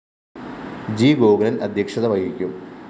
G Gokulan‍ അദ്ധ്യക്ഷത വഹിക്കും